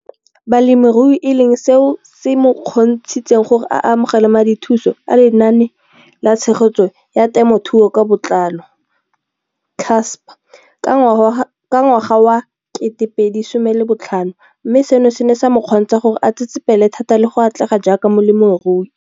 Balemirui e leng seo se mo kgontshitseng gore a amogele madithuso a Lenaane la Tshegetso ya Te mothuo ka Botlalo, CASP] ka ngwaga wa 2015, mme seno se ne sa mo kgontsha gore a tsetsepele thata le go atlega jaaka molemirui.